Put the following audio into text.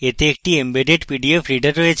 এতে একটি embedded PDF reader আছে